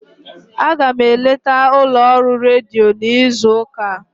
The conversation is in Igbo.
Aga m eleta ụlọọrụ redio n'izu ụka a.